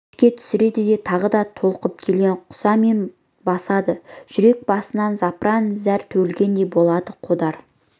еске түсіреді де тағы да толқып келген құсамен басады жүрек басынан запыран зәр төгілгендей болады қодар